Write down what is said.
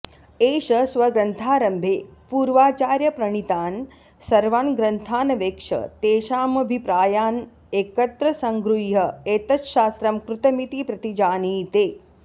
एष स्वग्रन्थारम्भे पूर्वाचार्यप्रणीतान् सर्वान् ग्रन्थानवेक्ष्य तेषामभिप्रायान् एकत्र सङ्गृह्य एतच्छास्त्रं कृतमिति प्रतिजानीते